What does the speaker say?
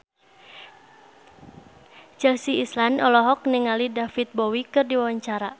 Chelsea Islan olohok ningali David Bowie keur diwawancara